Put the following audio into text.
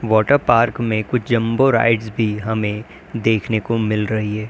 Water park में कुछ jumbo rides भी हमें देखने को मिल रही है।